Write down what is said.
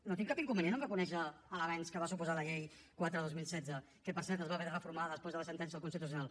no tinc cap inconvenient amb reconèixer l’avenç que va suposar la llei quatre dos mil setze que per cert es va haver de reformar després de la sentència del constitucional